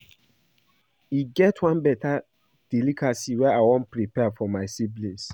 E get one beta delicacy I wan prepare for my siblings